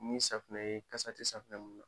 Ni safunɛ ye kasa ti safunɛ mun na